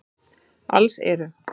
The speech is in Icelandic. Alls eru